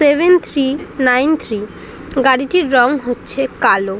Seven three nine three গাড়িটির রং হচ্ছে কালো।